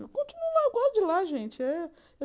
Eu continuo lá, eu gosto de lá, gente. Eh eh